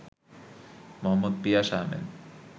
Md. Piyas Ahmed